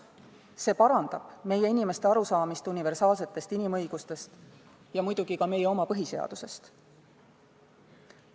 See parandab meie inimeste arusaamist universaalsetest inimõigustest ja ka meie oma põhiseadusest.